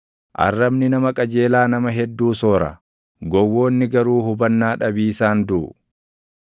Arrabni nama qajeelaa nama hedduu soora; gowwoonni garuu hubannaa dhabiisaan duʼu.